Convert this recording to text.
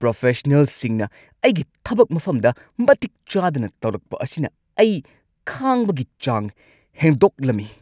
ꯄ꯭ꯔꯣꯐꯦꯁꯅꯦꯜꯁꯤꯡꯅ ꯑꯩꯒꯤ ꯊꯕꯛ ꯃꯐꯝꯗ ꯃꯇꯤꯛ ꯆꯥꯗꯅ ꯇꯧꯔꯛꯄ ꯑꯁꯤꯅ ꯑꯩ ꯈꯥꯡꯕꯒꯤ ꯆꯥꯡ ꯍꯦꯟꯗꯣꯛꯂꯝꯃꯤ꯫